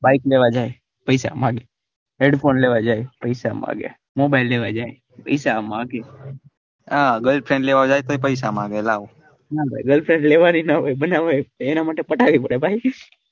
bike લેવા જાય પૈસા માંગે headphone લેવા જાય પૈસા માંગે mobile લેવા જાય પૈસા માંગે girlfriend લેવા જાય પૈસા માંગે લાવ ના ભાઈ girlfriend લેવાની ના હોય બનાવાય જ છે એના માટે પટાવી પડે ભાઈ.